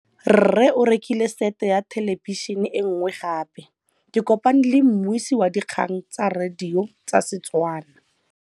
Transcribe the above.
Rre o rekile sete ya thêlêbišênê e nngwe gape. Ke kopane mmuisi w dikgang tsa radio tsa Setswana.